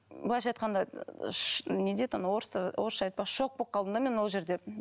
былайша айтқанда не дейді анау орыстар орысша айтпақшы шок болып қалдым да мен ол жерде